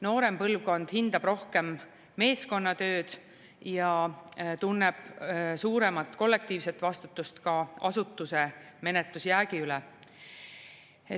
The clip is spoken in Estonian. Noorem põlvkond hindab rohkem meeskonnatööd ja tunneb suuremat kollektiivset vastutust ka asutuse menetlusjäägi üle.